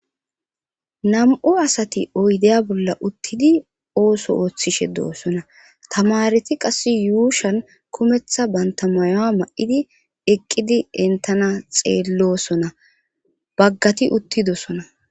Nam'u asati oydeya bolla uttidi ooso ooththishe doossona tamareti qass yuushan kumeththa banta mayoa ma'idi eqqidi dentana xeellosona baggati uttidosona